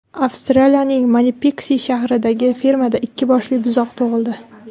Avstraliyaning Manipiks shahridagi fermada ikki boshli buzoq tug‘ildi.